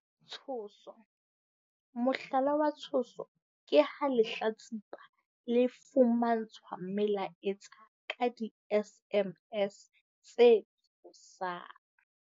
Tshoso. Mohlala wa tshoso ke ha lehlatsipa le fumantshwa melaetsa ka di-SMS tse tshosang.